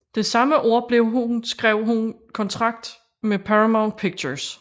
Det samme år blev hun skrev hun kontrakt med Paramount Pictures